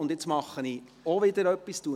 Nun wechsle ich die Reihenfolge.